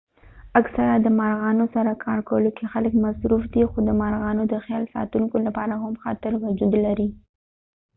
اکثره د مرغانو سره کارکولو کې خلک مصروف دي خو د مرغانو د خیال ساتونکو لپاره هم خطر وجود لري